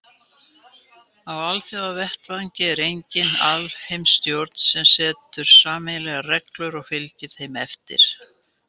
Á alþjóðavettvangi er engin alheimsstjórn sem setur sameiginlegar reglur og fylgir þeim eftir.